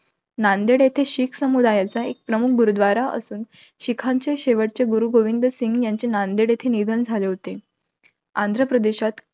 नांदेड येथे शीख समुदायाचा एक प्रमुख गुरुद्वारा असून, शिखांचे शेवटचे गुरु, गोविंदसिंग यांचे नांदेड येथे निधन झाले होते. आंध्रप्रदेशात